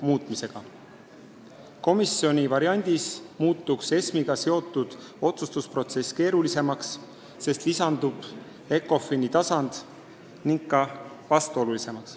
Komisjoni visiooni kohaselt muutuks ESM-iga seotud otsustusprotsess keerulisemaks, sest lisandub Ecofini tasand, ning ka vastuolulisemaks.